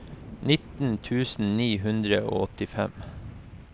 nitten tusen ni hundre og åttifem